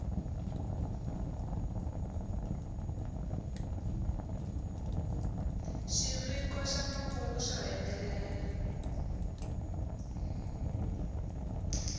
xiviko xa makungu xo hetelela